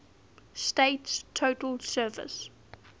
state's total surface